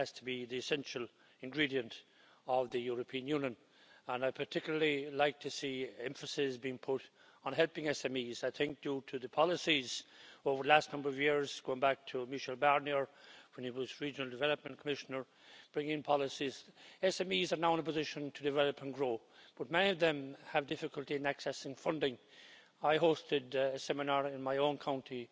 That has to be the essential ingredient of the European Union and I'd particularly like to see emphasis being put on helping SMEs I think due to the policies over the last number of years going back to Michel Barnier, when he was Regional Development Commissioner bringing in policies, SMEs are now in a position to develop and grow but many of them have difficulty in accessing funding. I hosted a seminar in my own county